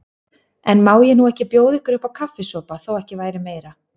En má ég nú ekki bjóða ykkur uppá kaffisopa, þó ekki væri meira.